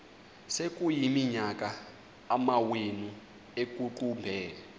sekuyiminyaka amawenu ekuqumbele